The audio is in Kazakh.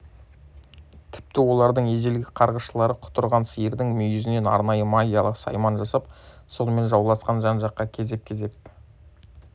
тіпті олардың ежелгі қарғысшылары құтырған сиырдың мүйізінен арнайы магиялық сайман жасап сонымен жауласқан жаққа кезеп-кезеп